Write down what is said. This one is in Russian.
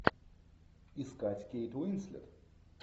искать кейт уинслет